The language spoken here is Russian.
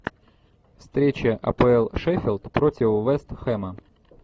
встреча апл шеффилд против вест хэма